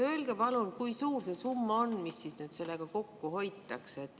Öelge palun, kui suur see summa on, mis nüüd sellega kokku hoitakse!